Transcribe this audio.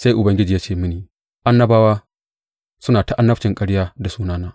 Sai Ubangiji ya ce mini, Annabawa suna ta annabcin ƙarya da sunana.